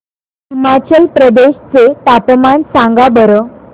हिमाचल प्रदेश चे तापमान सांगा बरं